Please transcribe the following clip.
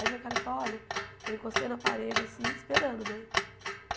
Aí veio o cara e falou, olha... Eu encostei na parede, assim, esperando, né?